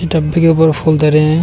डब्बे के ऊपर फूल धरे हैं।